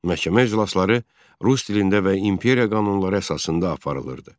Məhkəmə iclasları rus dilində və imperiya qanunları əsasında aparılırdı.